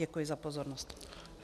Děkuji za pozornost.